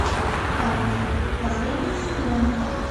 альф последний сезон